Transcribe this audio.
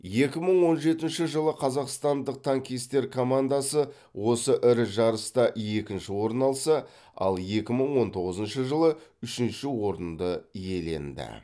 екі мың он жетінші жылы қазақстандық танкистер командасы осы ірі жарыста екінші орын алса ал екі мың он тоғызыншы жылы үшінші орынды иеленді